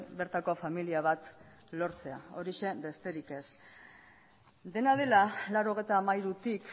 bertako familia bat lortzea horixe besterik ez dena dela laurogeita hamairutik